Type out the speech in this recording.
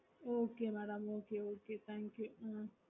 okay madam okay okay thank you